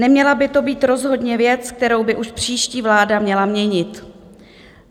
Neměla by to být rozhodně věc, kterou by už příští vláda měla měnit.